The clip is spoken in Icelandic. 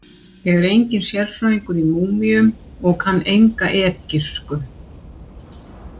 Ég er enginn sérfræðingur í múmíum og kann enga egypsku.